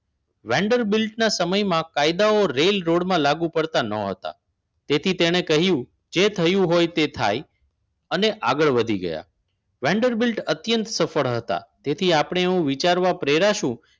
Vendor બેલ્ટના સમયમાં કાયદાઓ રેલ રોડમાં લાગુ પડતા ન હતા તેથી તેણે કહ્યું જે થયું હોય તે થાય અને આગળ વધી ગયા. વેન્ડર બેલ્ટ અત્યંત સફળ હતા તેથી આપણે એવું વિચારવા પ્રેરાશું